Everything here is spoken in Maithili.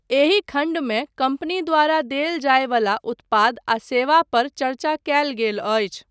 एहि खण्डमे कम्पनी द्वारा देल जायवला उत्पाद आ सेवा पर चर्चा कयल गेल अछि।